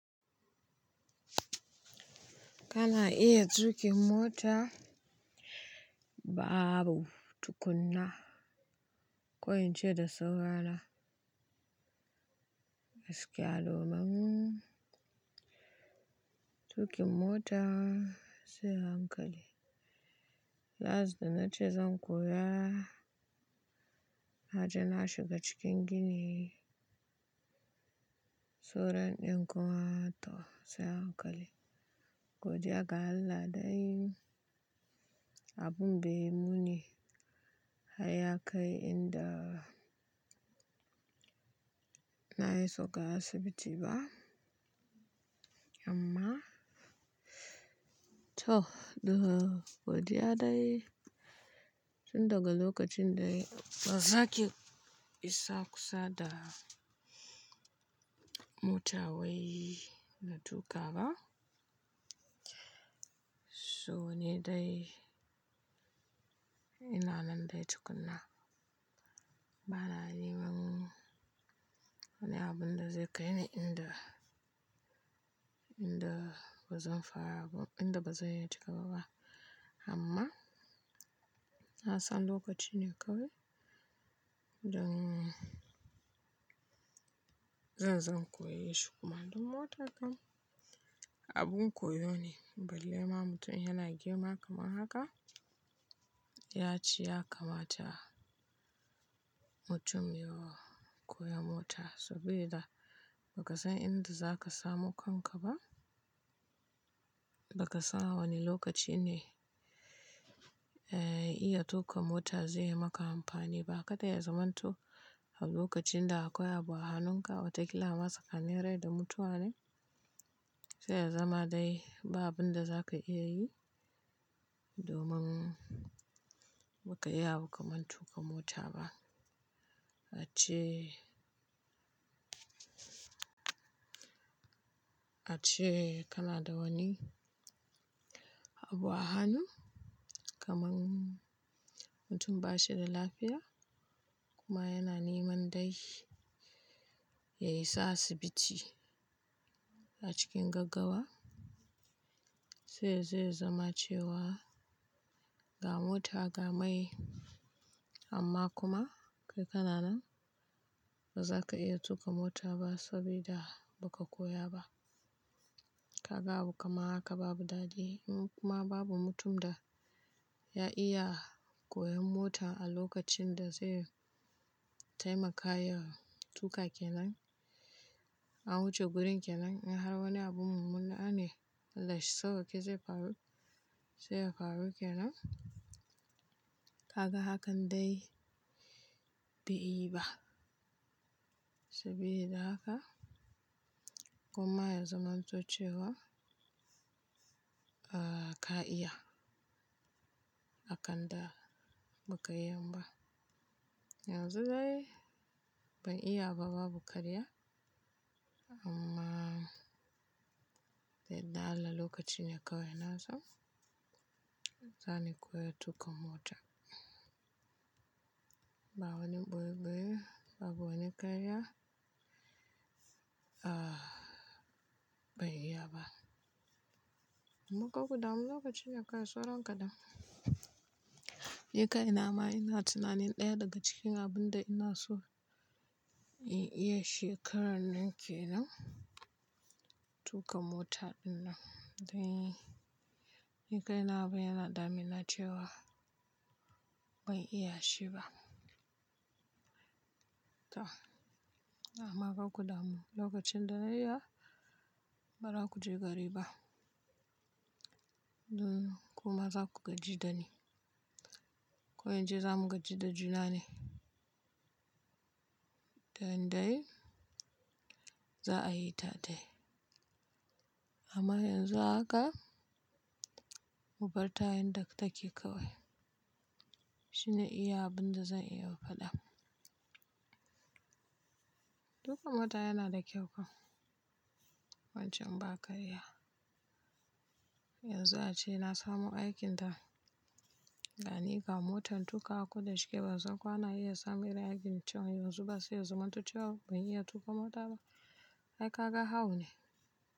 Kana iya tuƙin mota babu tukuna. Ko in ce da saurana gaskiya domin tuƙin mota sai hankali. Last da na ce zan koya, naje na shiga cikin gini suran ɗin kuma to sai hankali. Godiya ga Allah dai abun bai muni. Hai ya kai inda na yi soka asibiti ba. Amma to duka. Godiya dai tun daga lokacin dai ban sake isa kusa da mota wai na tuƙa ba. So ne dai ina nan dai tukuna. Ba na neman wani abun da zai kai ni inda, inda bazan fara ba, inda bazan iya tuƙawa ba. Amma na san lokaci ne kawai don ba na neman wani abun da zai kai ni inda, inda bazan fara ba, inda bazan iya tuƙawa ba. Bali ma mutum yana girma kamar haka ya ci ya kamata mutum ya koyi mota saboda ba ka san inda zaka samu kanka ba. Baka san wani lokaci ne iya tuƙa mota zai yi maka amfani ba. Kada ya zamanto a lokacin da akwai abu a hanunka wata kila ma tsakanin rai da mutuwa ne. Sai ya zama dai ba abunda zaka iya yi amma to duka godiya dai tun daga lokacin dai ban sake isa kusa da mota wai na tuƙa ba. Ace, ace kana da wani abu a hannu kamar mutum ba shi da lafiya kuma yana neman dai ya isa asibiti a cikin gaggawa. Sai ya zama cewa ga mota ga mai amma kuma kai kana nan ba zaka iya tuƙa mota ba sabida ba ka koya ba. Ka ga abu kamar haka babu daɗi in kuma babu mutum da ya iya koyon mota a lokacin da zai taimaka ya tuƙa kenan. An wuce gurin kenan in har wani abu mummunna ne Allahshi sawaƙe zai faru sai ya faru kenan. Ka ga hakan dai bai yi ba saboda haka kuma ya zamanto cewa ka iya akan da ba ka iya ba. Yanzu dai ban iya ba babu karya amma dai da yardan Allah lokaci ne kawai na so zan koyi tuƙa mota. Ba wani ɓoye ɓoye babu wani ƙarya a ba n iya ba. Amma kar kudamu lokaci ne kawai sauran kaɗan. Ni kai na ma ina tunanin ɗaya daga cikin abun da ina so in iya shekarar nan kenan tuƙa mota din nan. Dan ni kaina abin yana damina cewa ban iya shi ba. To amma kar kudamu lokacin da na yi ba za ku je gari ba. Don kuma za ku gaji da ni. Ko in ce za mu gaji da juna ne. Dan dai za a yi ta dai. Amma yanzu haka mubarta yanda take kawai. Shine iya abun da zan iya faɗa. Tuƙa mota yana da kyau fa wancan ba ƙarya. Yanzu ace na samu aikin da gani ga motar tuƙawa ko da shike bansan ko ana iya samun irin aikin can yanzu ba sai ya zamanto cewa ban iya tuƙa mota ba. Ai ka ga hau ne.